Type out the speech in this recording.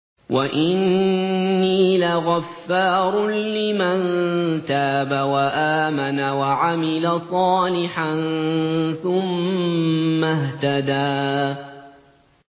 وَإِنِّي لَغَفَّارٌ لِّمَن تَابَ وَآمَنَ وَعَمِلَ صَالِحًا ثُمَّ اهْتَدَىٰ